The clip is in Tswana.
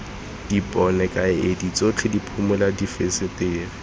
dipone kaedi tsotlhe diphimola difensetere